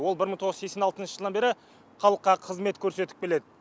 ол бір мың тоғыз жүз сексен алтыншы жылдан бері халыққа қызмет көрсетіп келеді